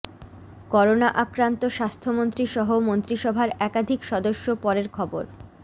corona আক্রান্ত স্বাস্থ্যমন্ত্রী সহ মন্ত্রিসভার একাধিক সদস্য পরের খবর